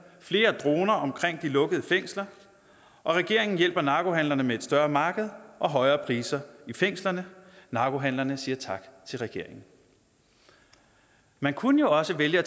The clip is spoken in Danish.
flere droner omkring de lukkede fængsler og regeringen hjælper narkohandlerne med et større marked og højere priser i fængslerne narkohandlerne siger tak til regeringen man kunne også vælge at